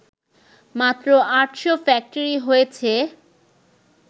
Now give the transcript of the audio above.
মাত্র আটশো ফ্যাক্টরি হয়েছে